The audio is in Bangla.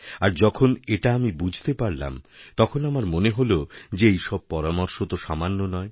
আর যখনএটা আমি বুঝতে পারলাম তখন আমার মনে হল যে এইসব পরামর্শ তো সামান্য নয়